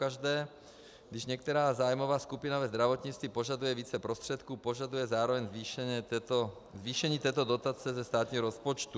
Pokaždé, když některá zájmová skupina ve zdravotnictví požaduje více prostředků, požaduje zároveň zvýšení této dotace ze státního rozpočtu.